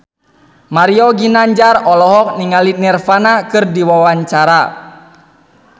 Mario Ginanjar olohok ningali Nirvana keur diwawancara